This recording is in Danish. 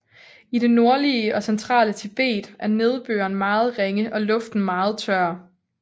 I det nordlige og centrale Tibet er nedbøren meget ringe og luften meget tør